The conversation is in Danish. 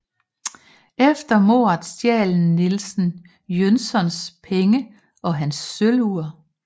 Efter mordet stjal Nielsen Jönssons penge og hans sølvur